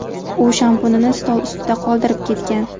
U shampunini stol ustida qoldirib ketgan.